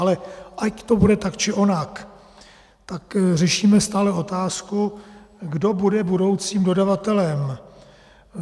Ale ať to bude tak či onak, tak řešíme stále otázku, kdo bude budoucím dodavatelem.